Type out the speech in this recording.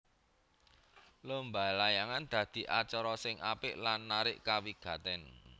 Lomba layangan dadi acara sing apik lan narik kawigatèn